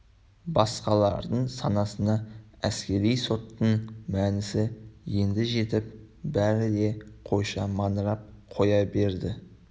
басқалардың санасына әскери соттың мәнісі енді жетіп бәрі де қойша маңырап қоя берді